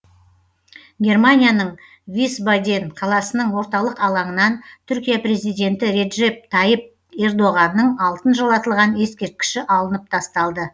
германияның висбаден қаласының орталық алаңынан түркия президенті реджеп тайып ердоғанның алтын жалатылған ескерткіші алынып тасталды